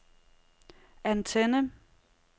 antenne